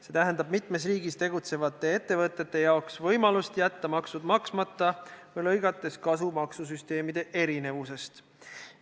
See tähendab mitmes riigis tegutsevatele ettevõtetele võimalust jätta maksud maksmata, lõigates kasu maksusüsteemide erinevusest.